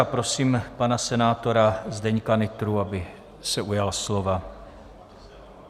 A prosím pana senátora Zdeňka Nytru, aby se ujal slova.